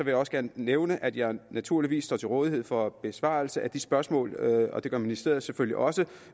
jeg også gerne nævne at jeg naturligvis står til rådighed for besvarelse af de spørgsmål og det gør ministeriet selvfølgelig også